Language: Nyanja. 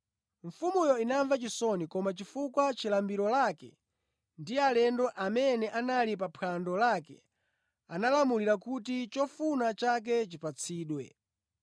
Mfumuyo inamva chisoni koma chifukwa cha lumbiro lake ndi alendo amene anali pa phwando lake analamulira kuti chofuna chake chipatsidwe;